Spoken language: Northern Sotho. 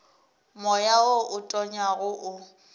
moya wo o tonyago o